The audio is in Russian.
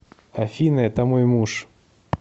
афина это мой муж